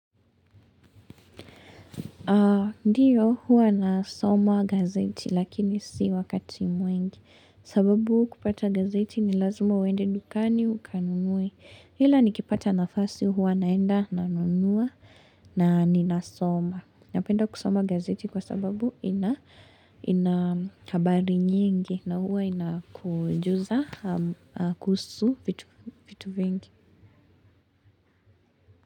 Ndiyo huwa nasoma gazeti lakini si wakati mwingi sababu kupata gazeti ni lazima uende dukani ukanunue hila nikipata nafasi huwa naenda nanunua na ninasoma napenda kusoma gazeti kwa sababu ina ina habari nyingi na huwa inakujuza kuhusu vitu vingi.